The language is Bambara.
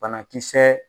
Banakisɛ